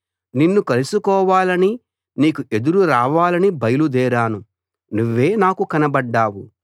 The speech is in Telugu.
నిన్ను కలుసుకోవాలని నీకు ఎదురు రావాలని బయలుదేరాను నువ్వే నాకు కనబడ్డావు